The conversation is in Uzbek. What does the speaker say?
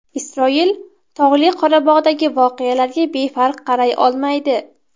Isroil Tog‘li Qorabog‘dagi voqealarga befarq qaray olmaydi.